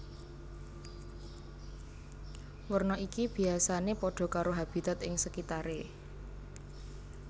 Werna iki biyasané padha karo habitat ing sekitaré